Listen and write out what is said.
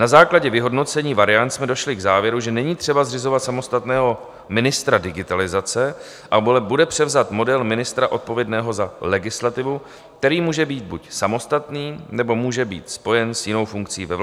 Na základě vyhodnocení variant jsme došli k závěru, že není třeba zřizovat samostatného ministra digitalizace, ale bude převzat model ministra odpovědného za legislativu, který může být buď samostatný, nebo může být spojen s jinou funkcí ve vládě.